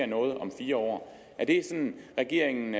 noget om fire år er det sådan regeringen